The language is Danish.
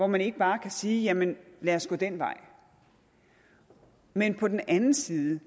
man ikke bare kan sige jamen lad os gå den vej men på den anden side